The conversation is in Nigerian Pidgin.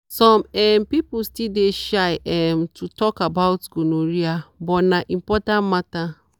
some um people still dey shy um to talk gonorrhea but na important matter.